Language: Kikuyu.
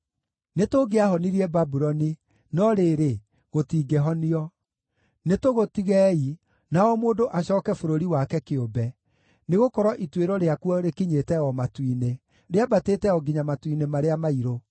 “ ‘Nĩtũngĩahonirie Babuloni, no rĩrĩ, gũtingĩhonio. Nĩtũgũtigei, na o mũndũ acooke bũrũri wake kĩũmbe, nĩgũkorwo ituĩro rĩakuo rĩkinyĩte o matu-inĩ, rĩambatĩte o nginya matu-inĩ marĩa mairũ.’